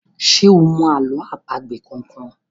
ṣe o mọ àlọ́ àpagbè kán kán?